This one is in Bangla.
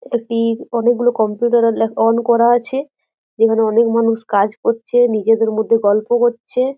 একটি অনেকগুলো কম্পিউটার আর লা অন করা আছে। যেইগুলো অনেক মানুষ কাজ করছে নিজেদের মধ্যে গল্প করছে।